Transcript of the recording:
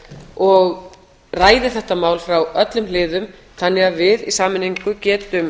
og ræði þetta mál frá öllum hliðum þannig að við í sameiningu getum